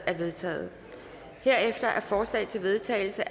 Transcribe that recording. er vedtaget herefter er forslag til vedtagelse